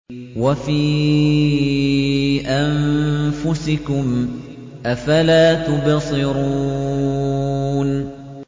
وَفِي أَنفُسِكُمْ ۚ أَفَلَا تُبْصِرُونَ